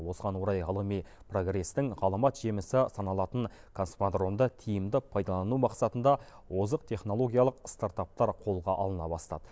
осыған орай ғылыми прогрестің ғаламат жемісі саналатын космодромды тиімді пайдалану мақсатында озық технологиялық стартаптар қолға алына бастады